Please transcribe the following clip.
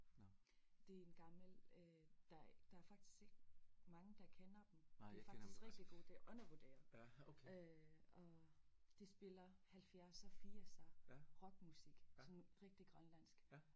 Det er en gammel øh der der er faktisk ikke mange der kender dem de faktisk rigtig gode det undervurderet øh og de spiller halvfjerdser firser rock musik sådan rigtig grønlandsk